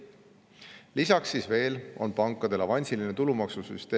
Lisaks on pankadel avansilise tulumaksu süsteem.